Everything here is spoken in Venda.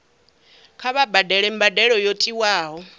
kha vha badele mbadelo yo tiwaho